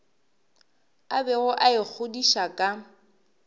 a bego a ikgodiša ka